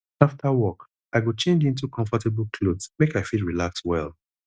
after work i go change into comfortable clothes make i fit relax well